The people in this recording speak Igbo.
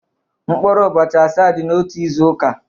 Mkpụrụ ụbọchị asaa dị n'otu izu ụka.